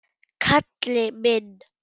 Kalli minn!